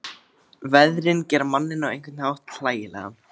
Veðrin gera manninn á einhvern hátt hlægilegan.